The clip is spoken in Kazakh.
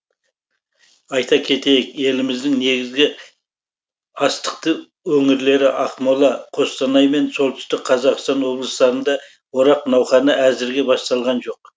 айта кетейік еліміздің негізгі астықты өңірлері ақмола қостанай мен солтүстік қазақстан облыстарында орақ науқаны әзірге басталған жоқ